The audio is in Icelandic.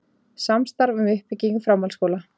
Samstarf um uppbyggingu framhaldsskóla